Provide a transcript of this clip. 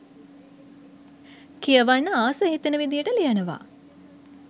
කියවන්න ආස හිතෙන විදියට ලියනව